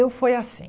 Eu foi assim.